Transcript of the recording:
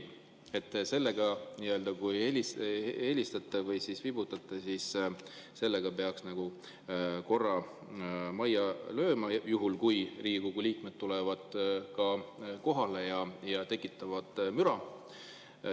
Kui te seda helistate või viibutate, siis sellega peaks nagu korra majja lööma, juhul kui Riigikogu liikmed tulevad kohale ja tekitavad müra.